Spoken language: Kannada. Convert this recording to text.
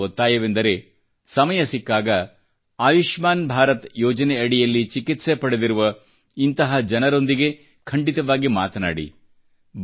ತಮ್ಮಲ್ಲಿ ನನ್ನ ಒತ್ತಾಯವೆಂದರೆ ಸಮಯ ಸಿಕ್ಕಾಗ ಆಯುಷ್ಮಾನ್ ಭಾರತ ಯೋಜನೆ ಅಡಿಯಲ್ಲಿ ಚಿಕಿತ್ಸೆ ಪಡೆದಿರುವ ಇಂಥ ಜನರೊಂದಿಗೆ ಖಂಡಿತವಾಗಿ ಮಾತನಾಡಿ